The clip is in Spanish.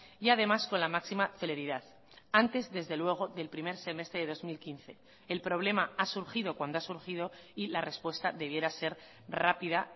y además con la máxima celeridad antes desde luego del primer semestre de dos mil quince el problema ha surgido cuando ha surgido y la respuesta debiera ser rápida